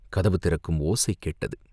கதவு திறக்கும் ஓசை கேட்டது.